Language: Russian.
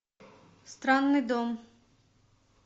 странный дом